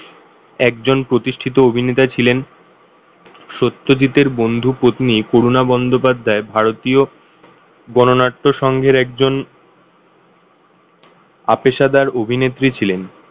একজন প্রতিষ্ঠাতা ছিলেন। সত্যজিতের বন্ধুপত্নী করুণা বন্দ্যোপাধ্যায় ভারতীয় গণনাট্য সংঘের একজন অপেশাদার অভিনেত্রী ছিলেন।